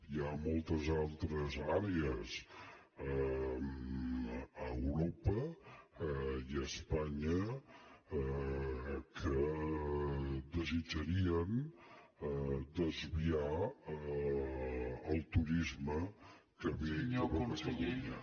hi ha motes altres àrees a europa i a espanya que desitjarien desviar el turisme que ve cap a catalunya